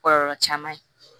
Kɔlɔlɔ caman ye